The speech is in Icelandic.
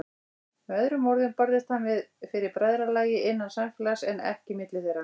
Með öðrum orðum barðist hann fyrir bræðralagi, innan samfélags, en ekki milli þeirra.